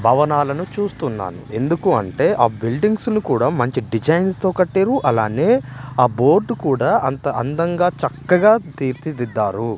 భవనాలను చూస్తున్నాను ఎందుకు అంటే ఆ బిల్డింగ్స్ ను కూడా మంచి డిజైన్స్ తో కట్టిర్రు అలానే ఆ బోర్డు కూడా అంత అందంగా చక్కగా తీర్చిదిద్దారు.